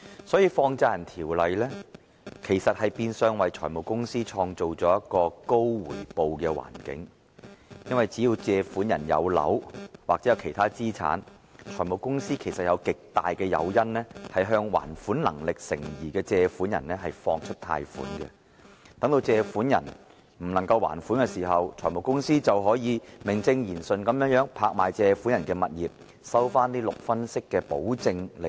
所以，《放債人條例》其實變相為財務公司創造了一個高回報的環境，因為只要借款人擁有物業或其他資產，財務公司便有極大誘因向還款能力成疑的借款人貸出款項；借款人如未能還款，財務公司便可以名正言順地拍賣借款人的物業，收回6分息的保證利潤。